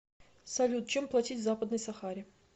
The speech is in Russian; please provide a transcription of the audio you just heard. салют чем платить в западной сахаре